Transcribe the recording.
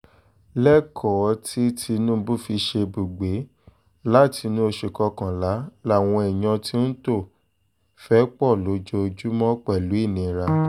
lẹ́kọ̀ọ́ tí tinubu fi ṣèbúgbè látinú oṣù kọkànlá làwọn èèyàn ti ń tò fẹ́pọ̀ lójoojúmọ́ pẹ̀lú ìnira